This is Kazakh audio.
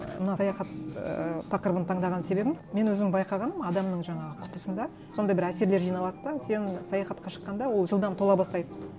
ы мына саяхат ыыы тақырыбын таңдаған себебім мен өзім байқағаным адамның жаңағы құтысында сондай бір әсерлер жиналады да сен саяхатқа шыққанда ол жылдам тола бастайды